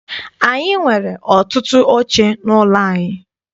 Anyị nwere ọtụtụ oche n'ụlọ anyị.